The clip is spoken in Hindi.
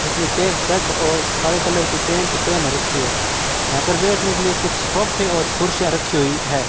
जिसने चेक शर्ट और काले कलर की पैंट पेन रखी है यहां पर बैठने के लिए कुछ सोफे और खुर्सियां रखी हुई है।